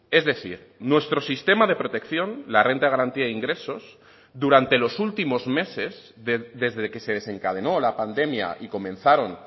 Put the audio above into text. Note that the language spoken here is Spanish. es decir nuestro sistema de protección la renta de garantía de ingresos durante los últimos meses desde que se desencadenó la pandemia y comenzaron